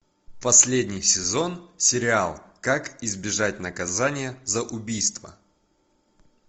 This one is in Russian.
последний сезон сериал как избежать наказания за убийство